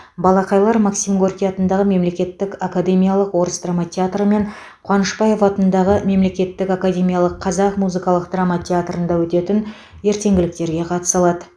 балақайлар максим горький атындағы мемлекеттік академиялық орыс драма театры мен қуанышбаев атындағы мемлекеттік академиялық қазақ музыкалық драма театрында өтетін ертеңгіліктерге қатыса алады